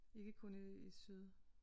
Ikke kun i øh syd